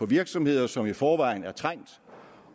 virksomheder som i forvejen er trængt